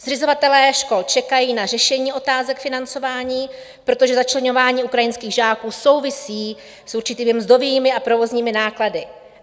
Zřizovatelé škol čekají na řešení otázek financování, protože začleňování ukrajinských žáků souvisí s určitými mzdovými a provozními náklady.